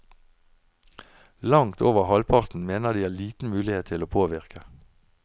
Langt over halvparten mener de har liten mulighet til å påvirke.